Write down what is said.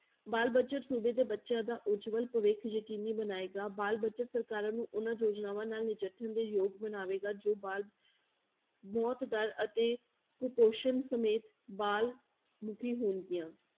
ਬਾਲ budget ਸੂਬੇ ਦੇ ਬੱਚਿਆਂ ਦਾ ਉਜਵਲ ਭਵਿੱਖ ਯਕੀਨੀ ਬਣਾਏਗਾ, ਬਾਲ budget ਸਰਕਾਰਾਂ ਨੂੰ ਉਹਨਾਂ ਯੋਜਨਾਵਾਂ ਨਾਲ ਨਜਿੱਠਣ ਦੇ ਯੋਗ ਬਣਾਵੇਗਾ ਜੋ ਬਾਲ ਮੌਤ ਦਰ ਅਤੇ ਕੁਪੋਸ਼ਣ ਸਮੇਤ ਬਾਲ ਮਿੱਥੀ ਹੋਣਗੀਆਂ।